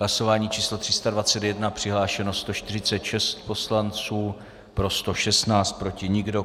Hlasování číslo 321, přihlášeno 146 poslanců, pro 116, proti nikdo.